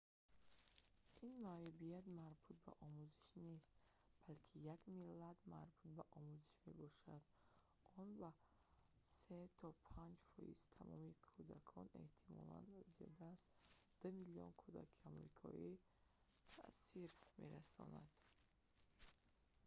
ин маъюбият марбут ба омӯзиш нест балки як иллат марбут ба омӯзиш мебошад он ба 3 то 5 фоизи тамоми кӯдакон эҳтимолан зиёда аз 2 миллион кӯдаки амрикоӣ таъсир мерасонад